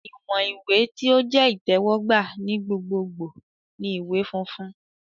Iwọn iwe ti o jẹ itẹwọgba ni gbogbogbo ni iwe funfun